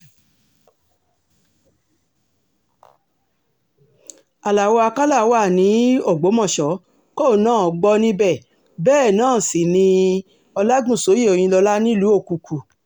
alao akala wà ní um ògbómọ̀ṣọ́ kóun náà gbọ́ níbẹ̀ bẹ́ẹ̀ náà sì um ni ọlágúnsọ̀yé òyìnlọ́lá nílùú òkùkù